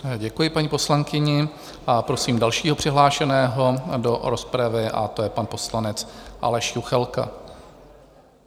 Děkuji paní poslankyni a prosím dalšího přihlášeného do rozpravy a to je pan poslanec Aleš Juchelka.